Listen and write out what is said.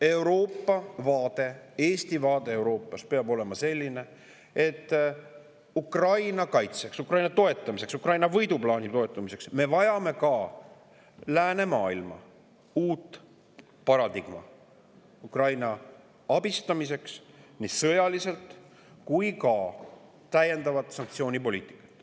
Euroopa vaade ning Eesti vaade Euroopas peab olema selline, et Ukraina kaitseks ja toetamiseks, Ukraina võiduplaani toetamiseks vajame me nii läänemaailma uut paradigmat – seda Ukraina abistamiseks sõjaliselt – kui ka täiendavat sanktsioonipoliitikat.